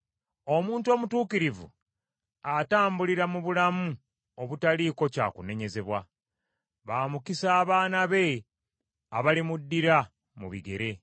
Omuntu omutuukirivu, atambulira mu bulamu obutaliiko kyakunenyezebwa; ba mukisa abaana be abalimuddira mu bigere.